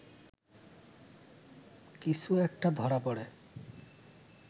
কিছু একটা ধরা পড়ে